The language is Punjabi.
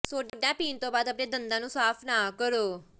ਸੋਡਾ ਪੀਣ ਤੋਂ ਬਾਅਦ ਆਪਣੇ ਦੰਦਾਂ ਨੂੰ ਸਾਫ਼ ਨਾ ਕਰੋ